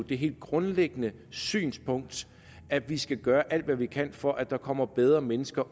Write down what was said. det helt grundlæggende synspunkt at vi skal gøre alt hvad vi kan for at der kommer bedre mennesker